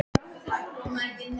Ég sýndi honum hvað ég hafði gert.